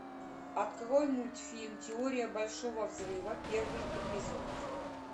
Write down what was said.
открой мультфильм теория большого взрыва первый эпизод